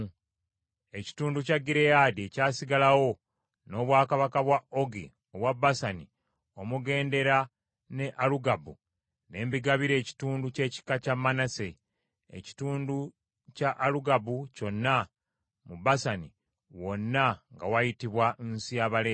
Ekitundu kya Gireyaadi ekyasigalawo, n’obwakabaka bwa Ogi obwa Basani omugendera ne Alugabu, ne mbigabira ekitundu ky’ekika kya Manase. Ekitundu kya Alugabu kyonna mu Basani, wonna nga wayitibwa nsi ya Balefa.